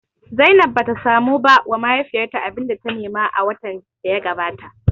Zainab bata samu ba wa mahaifiyarta abinda ta nema a watan da ya gabata ba